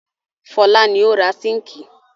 Fọlá ni ó ra síńkì.